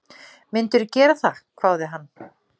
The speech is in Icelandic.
Myndirðu gera það? hváði hann.